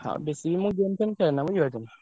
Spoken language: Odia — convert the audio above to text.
ହଁ ବେଶୀ ବି ମୁଁ game ଫେମ୍ ଖେଳେନା ବୁଝି ପାରୁଚ୍ଛ ନା।